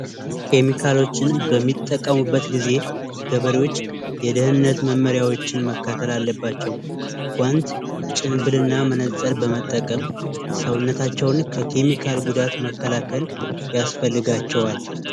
ኬሚካል በሚጠቀሙበት ጊዜ ገበሬዎች የደህንነት መርሆች መከተል አለባቸው። ጉዋንት፣ ጭምብልና መነጽር በመጠቀም ሰውነታቸውን ከኬሚካል ጉዳት መከላከል ያስፈልጋቸዋል።